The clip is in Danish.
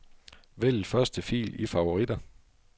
Vælg første fil i favoritter.